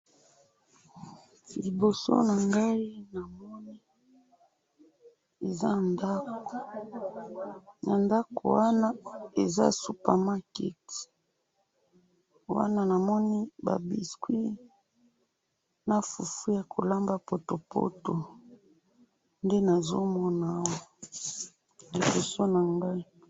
liboso na ngayi na moni eza ndaku na ndu wana eza super market wana na moni ba biscuits na fufu yako lamba potopoto nde nazo mona awa liboso na ngayi